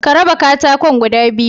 Ka raba katakon guda biyu